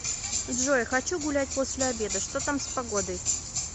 джой хочу гулять после обеда что там с погодой